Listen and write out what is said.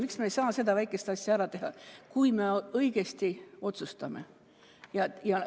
Miks me ei saa seda väikest asja ära teha, kui me õigesti otsustame?